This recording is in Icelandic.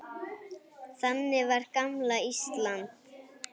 Þannig var gamla Ísland.